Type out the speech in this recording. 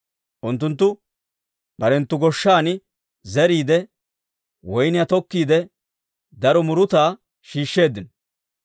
Unttunttu barenttu goshshan zeriide, woyniyaa tokkiide, daro murutaa shiishsheeddino.